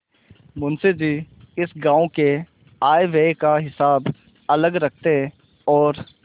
मुंशी जी इस गॉँव के आयव्यय का हिसाब अलग रखते और